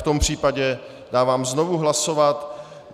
V tom případě dávám znovu hlasovat.